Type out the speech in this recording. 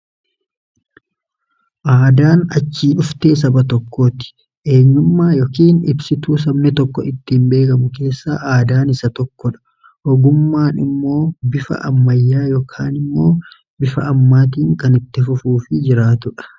Aadaan achii dhuftee saba tokkooti. Eenyummaa yookiin ibsituu saba tokko ittiin eegamu keessaa aadaan isa tokko dha. Ogummaan immoo bifa ammayyaa yookaan immoo bifa ammaatiin kan itti fufuu fi jiraatudha.